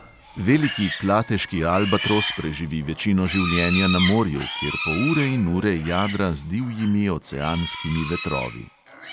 Veliki klateški albatros preživi večino življenja na morju, kjer po ure in ure jadra z divjimi oceanskimi vetrovi.